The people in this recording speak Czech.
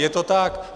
Je to tak.